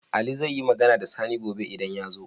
Ali zaiyi Magana da Sani gobe idan yazo?